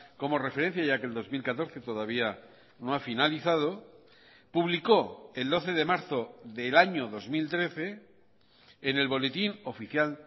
como referencia ya que el dos mil catorce todavía no ha finalizado publicó el doce de marzo del año dos mil trece en el boletín oficial